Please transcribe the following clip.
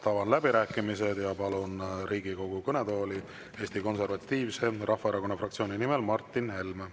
Avan läbirääkimised ja palun Riigikogu kõnetooli Eesti Konservatiivse Rahvaerakonna fraktsiooni nimel Martin Helme.